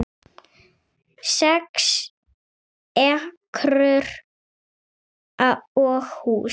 Sex ekrur og hús